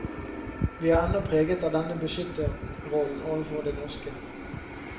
Vi er ennå preget av denne beskytterrollen overfor det norske.